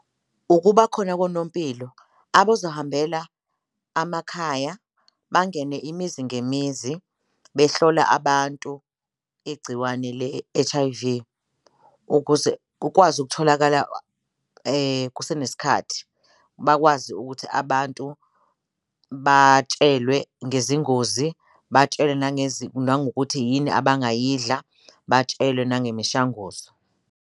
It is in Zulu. Ukuba khona konompilo abozahambela amakhaya bangene imizi ngemizi behlola abantu igciwane le-H_I_V ukuze kukwazi ukutholakala kusenesikhathi, bakwazi ukuthi abantu batshelwe ngezingozi, batshelwe nangokuthi yini abangayidla, batshelwe nangemishanguzo.